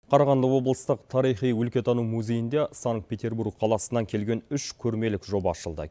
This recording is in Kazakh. қарағанды облыстық тарихи өлкетану музейінде санкт петербург қаласынан келген үш көрмелік жоба ашылды